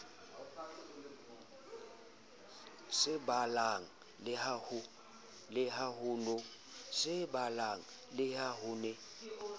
sa balang le ha ho